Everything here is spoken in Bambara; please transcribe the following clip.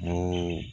N'o